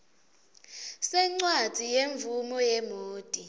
sencwadzi yemvumo yemoti